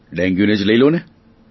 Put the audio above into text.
ડેન્ગ્યુને જ લ્યો ને